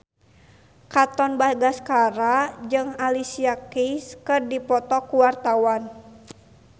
Katon Bagaskara jeung Alicia Keys keur dipoto ku wartawan